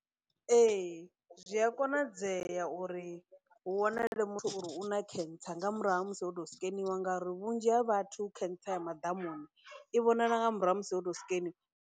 Ee, zwi a konadzea uri hu wanale muthu uri u na khentsa nga murahu ha musi ho tou sikeniwa ngauri vhunzhi ha vhathu khentsa ya madamuni i vhonala nga murahu ha musi o tou sikeniwa.